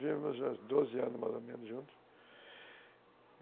Vivemos há doze anos, mais ou menos, juntos.